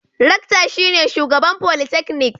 Rectar shine shugaban folytecnik.